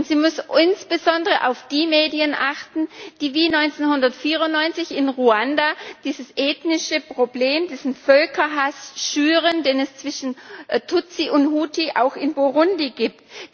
Und sie muss insbesondere auf die Medien achten, die wie 1994 in Ruanda dieses ethnische Problem, diesen Völkerhass schüren, den es zwischen Tutsi und Hutu auch in Burundi gibt.